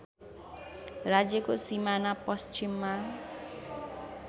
राज्यको सिमाना पश्चिममा